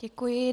Děkuji.